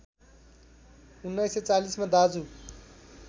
१९४० मा दाजु